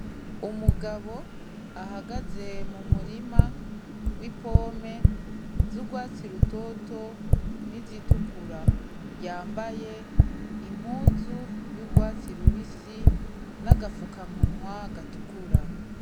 Umugabo ahagaze mu murima w'ipome z'ugwatsi rutoto n'izitukura yambaye impuzu y'ugwatsi rubisi n'agafukamunwa gatukura.